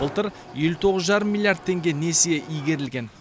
былтыр елу тоғыз жарым миллиард теңге несие игерілген